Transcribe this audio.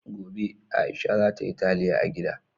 Gobe, Aisha za ta yi taliya a gida.